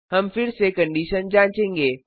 हम फिर से कंडिशन जाँचेंगे